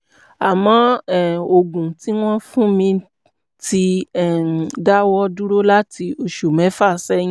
àmọ́ um oògùn tí wọ́n ń fún mi ti um dáwọ́ dúró láti oṣù mẹ́fà sẹ́yìn